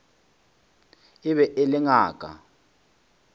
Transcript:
e be e le ngaka